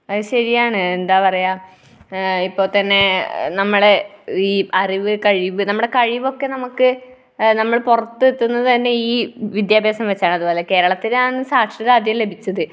അത് ശരിയാണ്. എന്താ പറയുക? എഹ് ഇപ്പോൾത്തന്നെ നമ്മുടെ ഈ അറിവ്, കഴിവ്, നമ്മുടെ കഴിവൊക്കെ നമുക്ക് നമ്മൾ പുറത്തെത്തുന്നതുതന്നെ ഈ വിദ്യാഭ്യാസം വച്ചാണ്. കേരളത്തിലാണ് ഈ സാക്ഷരത അധികം ലഭിച്ചത്.